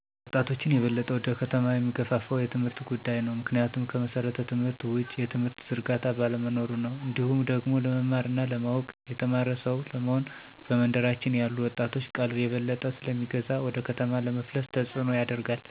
ወጣቾችን የበለጠ ወደ ከተማ የሚገፋፋው የትምህርት ጉዳይ ነው። ምክንያቱም ከመሠረተ ትምህርት ውጪ የትምህርት ዝርጋታ ባለመኖሩ ነው። እንዲሁም ደግሞ ለመማር እና ለማወቅ (የተማረ ሰው) ለመሆን በመንደራችን ያሉት ወጣቶችን ቀልብ የበለጠ ስለሚገዛ ወደ ከተማ ለመፍለስ ተጽኖን ያደርጋል።